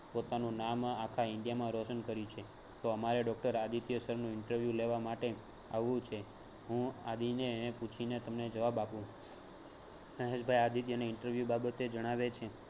પોતાનું નામ આખા India મા રોશન કર્યું છે તો અમારે doctor આદિત્ય sir નું ઇન્ટરવ્યૂ લેવા માટે આવવું છે હું આદિ ને પુછીને તમને જવાબ આપુ મહેશ ભાઈ interview બાબતે જણાવે છે